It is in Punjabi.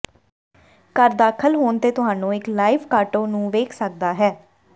ਘਰ ਦਾਖਲ ਹੋਣ ਤੇ ਤੁਹਾਨੂੰ ਇੱਕ ਲਾਈਵ ਕਾਟੋ ਨੂੰ ਵੇਖ ਸਕਦਾ ਹੈ